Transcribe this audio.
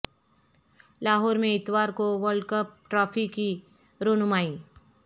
لاہور میں اتوار کو ورلڈ کپ ٹرافی کی رونمائی